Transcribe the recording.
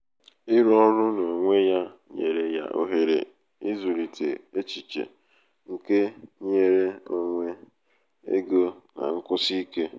ịrụ ọrụ n'onwe ya nyere ya ohere ịzụlite echiche nke nnwere onwe ego na nkwụsi ike.